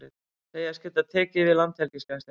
Segjast geta tekið við Landhelgisgæslunni